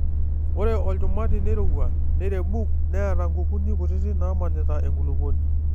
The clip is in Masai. Ore olchumati neirowua neirebuk neata nkukuni kutiti naamanita enkulupuoni.